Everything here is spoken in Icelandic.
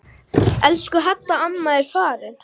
Elsku Hadda amma er farin.